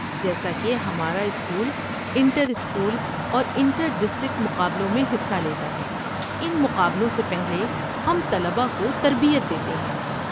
جیسا کہ ہمارا اسکول انٹر اسکول اور انٹر ڈسٹرکٹ مقابلوں میں حصہ لیتا ہے، ان مقابلوں سے پہلے ہم طلباء کو تربیت دیتے ہیں۔